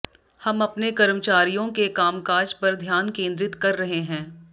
हम अपने कर्मचारियों के कामकाज पर ध्यान केंद्रित कर रहे हैं